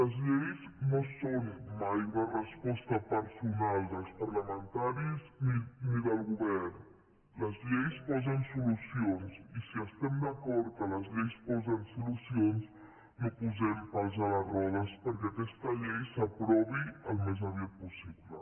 les lleis no són mai una resposta personal dels parlamentaris ni del govern les lleis posen solucions i si estem d’acord que les lleis posen solucions no hi posem pals a les rodes perquè aquesta llei s’aprovi al més aviat possible